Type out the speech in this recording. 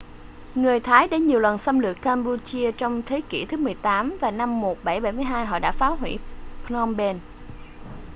người thái đã nhiều lần xâm lược cam-pu-chia trong thế kỉ thứ 18 và năm 1772 họ đã phá hủy phnom phen